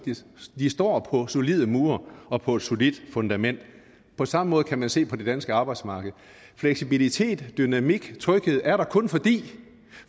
de står på solide mure og på et solidt fundament på samme måde kan man se på det danske arbejdsmarked fleksibilitet dynamik og tryghed er der kun fordi